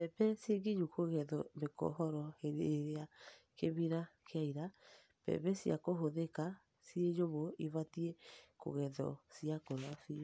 Mbembe ciĩ nginyu kũgethwo mĩkohoro hĩndĩ ĩrĩa kimira kĩaira. Mbembe cia kũhũthĩka ciĩ nyũmũ ibatiĩ kũgethwo ciakũra biũ.